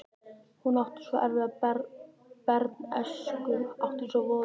Hún átti svo erfiða bernsku, átti svo voðalega bernsku.